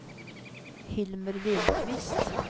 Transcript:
Hilmer Lindquist